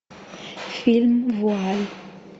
фильм вуаль